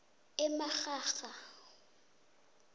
emarharha